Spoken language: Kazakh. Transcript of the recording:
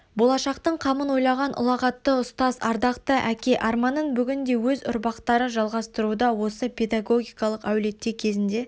болашақтың қамын ойлаған ұлағатты ұстаз ардақты әке арманын бүгінде өз ұрпақтары жалғастыруда осы педагогиқалық әулетте кезінде